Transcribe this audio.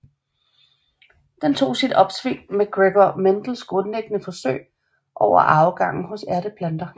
Den tog sit opsving med Gregor Mendels grundlæggende forsøg over arvegangen hos ærteplanter